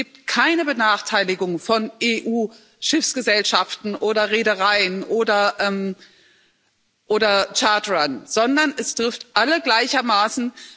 Sprich Es gibt keine Benachteiligungen von EU Schiffsgesellschaften oder Reedereien oder Charterern, sondern es trifft alle gleichermaßen.